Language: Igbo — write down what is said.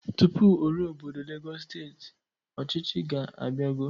Tụpụ o ruo obodo Legọs steeti, ọchịchị ga-abiago.